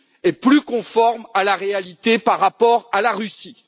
et plus conforme à la réalité par rapport à la Russie.